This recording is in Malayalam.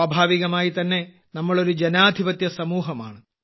സ്വാഭാവികമായി തന്നെ നമ്മൾ ഒരു ജനാധിപത്യ സമൂഹമാണ്